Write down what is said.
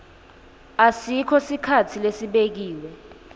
asikho sikhatsi lesibekiwe